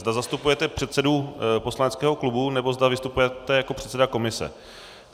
Zda zastupujete předsedu poslaneckého klubu, nebo zda vystupujete jako předseda komise.